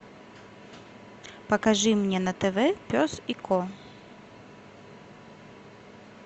покажи мне на тв пес и ко